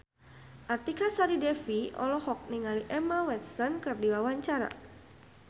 Artika Sari Devi olohok ningali Emma Watson keur diwawancara